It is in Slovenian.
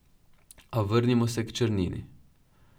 A vrnimo se k črnini.